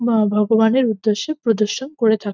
বা ভগবানের উদ্দেশ্যে প্রদর্শন করে থাক--